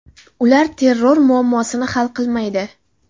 Ular terror muammosini hal qilmaydi.